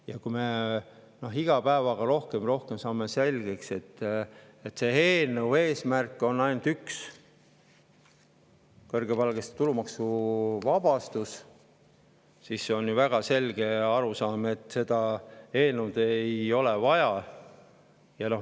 Ja kui me iga päevaga rohkem ja rohkem saame selgeks, et sellel eelnõul on ainult üks eesmärk – kõrgepalgaliste tulumaksu –, siis ju väga selge arusaam, et seda eelnõu ei ole vaja.